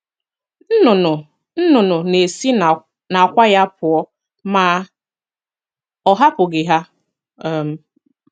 Nnụnụ nnụnụ na-esi n'àkwá ya pụọ ma ọ hapụghị ha um